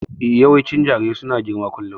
Yawancin jarirai su na rigima kullum